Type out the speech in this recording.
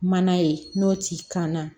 Mana ye n'o t'i kan na